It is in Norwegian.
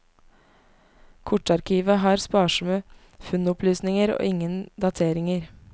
Kortarkivet har sparsomme funnopplysninger og ingen dateringer.